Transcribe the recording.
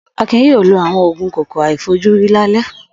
Akin yóò lo àwọn òògùn kòkòrò àìfojúrí lálẹ́.